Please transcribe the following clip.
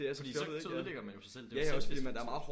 Fordi så så ødelægger man jo sig selv det jo selvdestruktivt